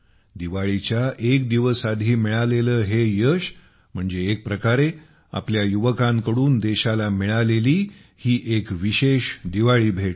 दिवाळीच्या एक दिवस आधी मिळालेले हे यश म्हणजे एक प्रकारे आपल्या युवकांकडून देशाला मिळालेली ही विशेष दिवाळी भेट आहे